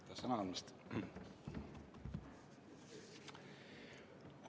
Aitäh sõna andmast!